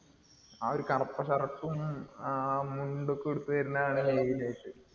ആ ഒരു കറുപ്പ് shirt ഉം, ആ മുണ്ടൊക്കെ ഉടുത്ത് വരുന്ന